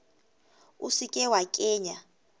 o se ke wa kenya